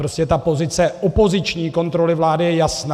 Prostě ta pozice opoziční kontroly vlády je jasná.